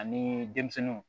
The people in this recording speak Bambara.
Ani denmisɛnninw